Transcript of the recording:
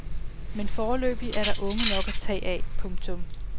Men foreløbig er der unge nok at tage af. punktum